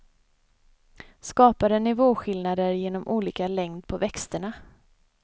Skapade nivåskillnader genom olika längd på växterna.